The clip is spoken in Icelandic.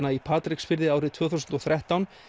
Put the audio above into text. í Patreksfirði árið tvö þúsund og þrettán